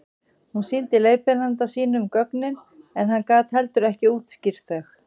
hún sýndi leiðbeinanda sínum gögnin en hann gat heldur ekki útskýrt þau